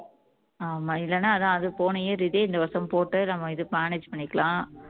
ஆமா இல்லைன்னா அதான் அது போன year இது இந்த வருஷம் போட்டு நம்ம இது manage பண்ணிக்கலாம்